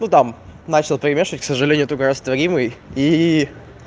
ну там начал перемешивать к сожалению только растворимый и